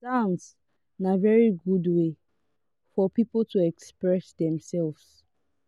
dance na very good wey for pipo to express themselves